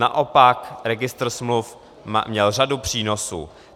Naopak registr smluv měl řadu přínosů.